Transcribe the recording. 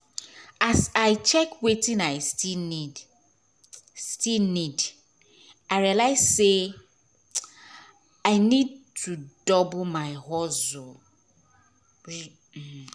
as i check wetin i still need still need i realise say ?] i need to double my hustle um